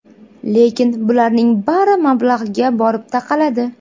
Lekin bularning bari mablag‘ga borib taqaladi.